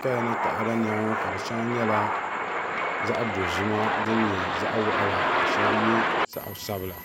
kaya ni taada nɛma ŋɔ ka shɛŋa nyɛla zaɣ'dozima din nyɛ zaɣ'waɣila ka shɛba ye zaɣ'sabila.